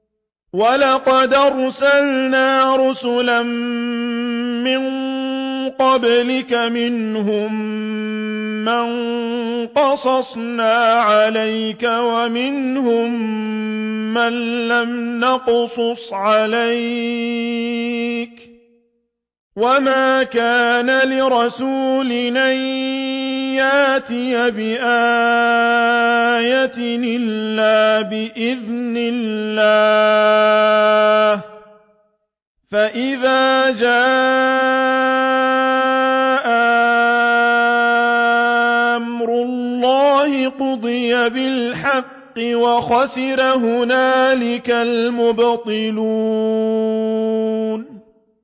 وَلَقَدْ أَرْسَلْنَا رُسُلًا مِّن قَبْلِكَ مِنْهُم مَّن قَصَصْنَا عَلَيْكَ وَمِنْهُم مَّن لَّمْ نَقْصُصْ عَلَيْكَ ۗ وَمَا كَانَ لِرَسُولٍ أَن يَأْتِيَ بِآيَةٍ إِلَّا بِإِذْنِ اللَّهِ ۚ فَإِذَا جَاءَ أَمْرُ اللَّهِ قُضِيَ بِالْحَقِّ وَخَسِرَ هُنَالِكَ الْمُبْطِلُونَ